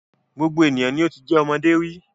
Gbogbo ènìyàn ni o ti jẹ́ ọmọdé rí.